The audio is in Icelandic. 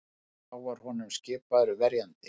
Þá var honum skipaður verjandi